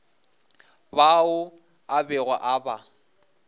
bao a bego a ba